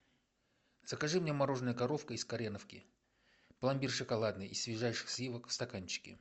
закажи мне мороженое коровка из кореновки пломбир шоколадный из свежайших сливок в стаканчике